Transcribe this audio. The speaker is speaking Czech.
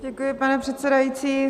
Děkuji, pane předsedající.